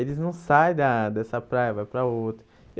Eles não saem da dessa praia e vai para outra.